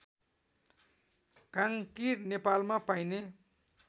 काङ्कीर नेपालमा पाइने